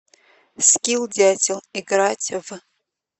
скилл дятел играть в